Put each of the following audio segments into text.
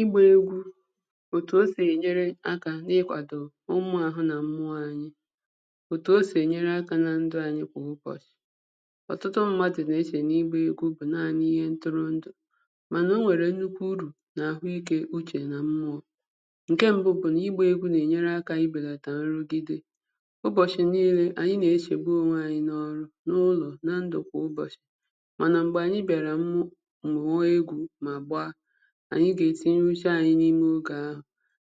Ị gbà egwù otù o sì enyerè aka ikwàdò omumè ahụ̀ anyị̀ nà mmụọ̀ anyị̀ otù o sì enyerè aka nà ndụ̀ anyị̀ kwà ụbọchị̀ ọtụtụ ndị̀ mmadụ̀ cherè n’ịgbà egwù bụ̀ naanị̀ ihe ntòronto mànà o nwerè nnukwù urù n’ahụ̀ ikè uchè nà mmụọ̀ nkè mbụ̀ bụ̀ n’ịgbà egwù na-enyerè aka ibelàtà nrụ̀gidè ụbọ̀chị̀ niinè anyị̀ na-echegbù onwè anyị̀ n’ọrụ̀ n’ụlọ̀ nà ndụ̀ kwà ụbọchị̀ mànà m̄gbè anyị̀ bịarà umù mụọ̀ egwù mà gba anyị̀ ga-etinyè uchè anyị̀ n’imè ogè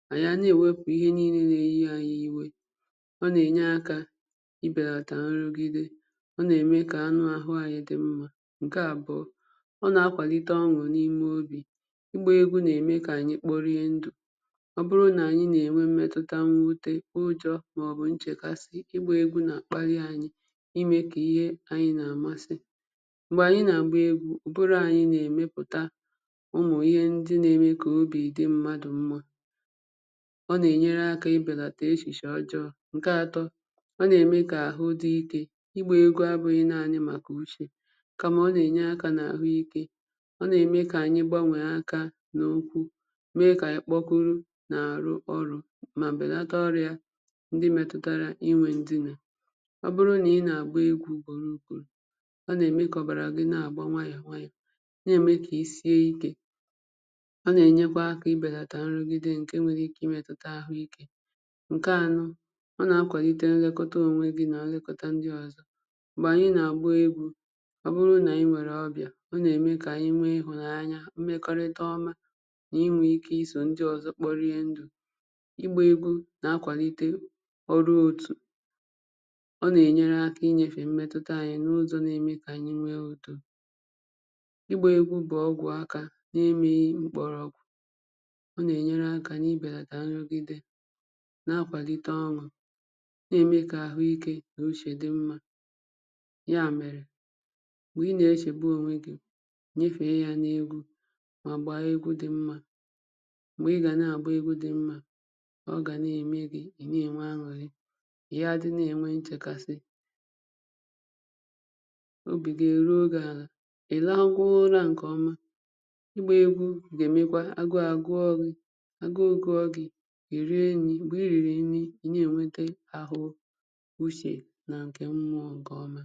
ahụ̀ anyị̀ na-ewepù ihè niinè na-enyè iwè ọ na-enyè aka ibelàtà nrugidè ọ na-emè kà anụ̀ ahụ̀ anyị̀ dị̀ mmà nkè abụọ̀ ọ na-akwàlitè on̄ụ̀ n’imè obì ịgbà egwù na-emè kà anyị̀ kporiè ndụ̀ ọ bụrụ̀ nà anyị̀ mmetutà mwutè, ụjọ̀ maọ̀bụ̀ nchèkasị̀ ike igbà egwù n’akparị̀ anyị̀ imè kà ihe anyị̀ na-amasị̀ m̄gbè anyị̀ na-agbà egwù, ụbụrụ̀ anyị̀ na-emèputà ụmụ̀ ihe ndị̀ na-emè kà obì dị̀ mmadụ̀ mmà ọ na-enyerè aka ibelàtà echìchè ọjọ̀ nke atọ̀ ọ na-emè kà ahụ̀ dị̀ ike ịgbà egwù abụghị̀ naanị̀ màkà uchè kamà ọ na-enyè aka n’ahụ̀ ike ọ na-emè kàanyị̀ gbanwè aka nà ụkwụ̀ mee kà anyị̀ kpogorù na-arụ̀ ọrụ̀ mà belàtà ọrịà ndị̀ metùtarà inwè ndị̀ nà ọ bụrụ̀ nà ị na-agbà egwù ugborò ugborò ọ na-emè kà ọbarà gị̀ na-agbà nwayọ̀ nwayọ̀ na-emè kà isiè ike hà na-enyekwà aka ibelàtà nrùgidè nkè nwerè ikè imetùtà ahụ̀ ikè nkè anọ̀ ọ na-akwàlitè nlekotà onwè gì nà nlekotà ndị̀ ọzọ̀ m̄gbè anyị̀ na-agbà egwù ọ bụrụ̀ na-anyị̀ nwerè ọbịà ọ na-emè kà nwè ihụ̀nanya mmekorità ọmà n’inwè ike sorò ndị̀ ọzọ̀ kporịà ndụ̀ ịgbà egwù na-akwàlitè ọrụ̀ otù ọ na-enyerè aka inyefè mmetutà anyị̀ n’ụzọ̀ na-emè kà nwè udò ịgbà egwù bụ̀ ọgwụ̀ aka n’imè m̄gbọrọ̀gwụ̀ ọ na-enyeerè aka nà ibelàtà nrụ̀gidè na-akwàlitè ọrụ̀ na-emè kà ahụ̀ ike nà uchè wee dị̀ mmà yà merè m̄gbè ị na-echegbù onwè gị̀ nyefè yà n’egwù mà gbà egwù dị̀ mmà m̄gbè ị gà na-agbà egwù dị̀ mmà ọ gà na-emè gì ị na-enwè an̄ụ̀rị̀ ị yà adị̀ na-enwè nchèkasị̀ obì gì eruò gì àlà ị rakwà ụrà nkè ọmà ịgbà egwù ga-emèkwà agụ̀ agụọ̀ gị̀ agụ̀ gụọ̀ gị̀ iriè nrì, m̄gbè irirì nrì ị na-enwetà ahụ̀ ọmà uchè nà nkè mmụọ̀ nkè ọmà